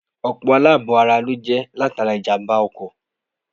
Ọ̀pọ̀ àlàbò-ara ló jẹ́ latara ìjàmbá-ọkọ̀.